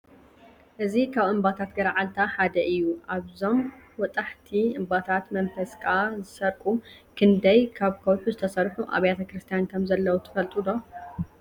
እዚ ካብ እምባታት ገረዓልታ ሓደ እዩ፡፡ ኣብዞም ወጣሕቲ እምባታት መንፈስካ ዝሰርቁ ክንደይ ካብ ከውሒ ዝተሰርሑ ኣብያተ ክርስቲያን ከምዘለዉ ትፈልጡ ዶ?